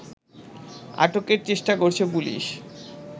আটকের চেষ্টা করছে পুলিশ